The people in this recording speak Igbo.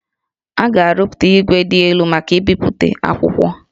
A ga-arụpụta igwe dị elu maka mbipụta akwụkwọ